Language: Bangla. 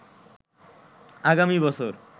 আগামী বছর